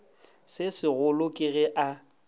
se segolo ke ge a